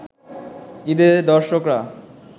ঈদে দর্শকরা